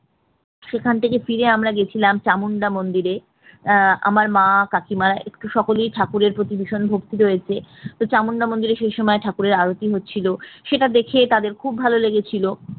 সেখান থেকে ফিরে আমরা গেছিলাম চামুন্ডা মন্দিরে আহ আমার মা কাকিমা একটু সকলেই ঠাকুরের প্রতি ভীষণ ভক্তি রয়েছে তো চামুন্ডা মন্দিরের সেই সময় ঠাকুরের আরতি হচ্ছিল সেটা দেখে তাদের খুব ভালো লেগেছিল